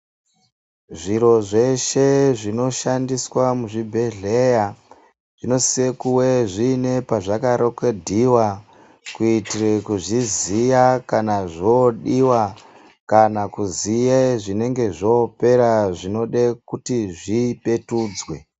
Zviro zveshe zvinoshandiswa muzvibhedhlera zvinosise kuve zviine pezvakarekhodhiwa, kuitire kuzviziya kana zvodiwa, kana kuziye zvinenge zvopera zvinode kuti zvipetudzwe.